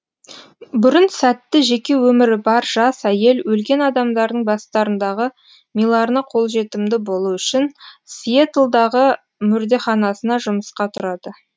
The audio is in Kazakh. бұрын сәтті жеке өмірі бар жас әйел өлген адамдардың бастарындағы миларына қолжетімді болу үшін сиэтлдағы мүрдеханасына жұмысқа тұрады